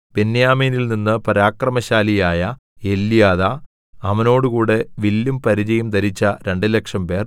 ബെന്യാമീനിൽ നിന്ന് പരാക്രമശാലിയായ എല്യാദാ അവനോടുകൂടെ വില്ലും പരിചയും ധരിച്ച രണ്ടുലക്ഷംപേർ